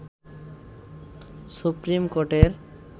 supreme কোর্টের